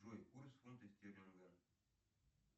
джой курс фунта стерлинга